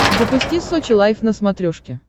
запусти сочи лайф на смотрешке